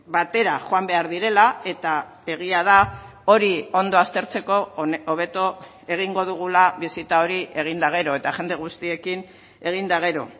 batera joan behar direla eta egia da hori ondo aztertzeko hobeto egingo dugula bisita hori egin eta gero eta jende guztiekin egin eta gero